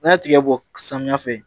N'a ye tigɛ bɔ samiyɛ fɛ